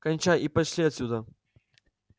кончай и пошли отсюда